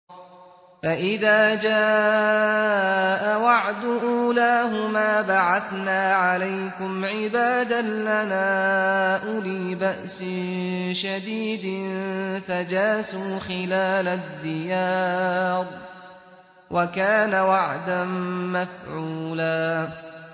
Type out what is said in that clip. فَإِذَا جَاءَ وَعْدُ أُولَاهُمَا بَعَثْنَا عَلَيْكُمْ عِبَادًا لَّنَا أُولِي بَأْسٍ شَدِيدٍ فَجَاسُوا خِلَالَ الدِّيَارِ ۚ وَكَانَ وَعْدًا مَّفْعُولًا